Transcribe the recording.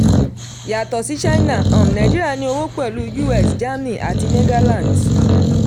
yàtọ̀ sí china um nàìjíríà ní òwò pẹ̀lú us germany àti netherlands.